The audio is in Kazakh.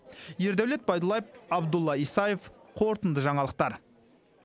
ердәулет байдуллаев абдулла исаев қорытынды жаңалықтар